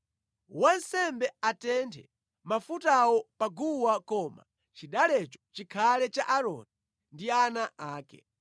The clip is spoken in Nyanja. Wansembe atenthe mafutawo pa guwa koma chidalecho chikhale cha Aaroni ndi ana ake.